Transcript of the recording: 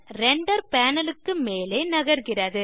render panel க்கு மேலே நகர்கிறது